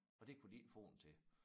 Og det kunne de ikke få den til